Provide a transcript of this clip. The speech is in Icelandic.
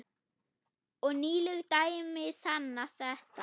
Og nýleg dæmi sanna þetta.